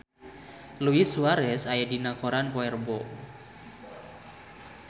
Luis Suarez aya dina koran poe Rebo